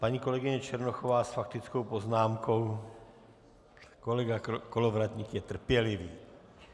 Paní kolegyně Černochová s faktickou poznámkou, kolega Kolovratník je trpělivý.